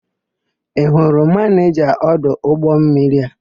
Ị hụrụ manịja ọdụ ụgbọmmiri a?